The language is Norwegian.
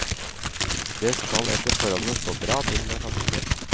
Det skal etter forholdene stå bra til med familien.